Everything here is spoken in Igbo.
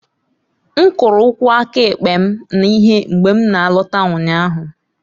M kụrụ ụkwụ aka ekpe m na ihe mgbe m na-alọta ụnyaahụ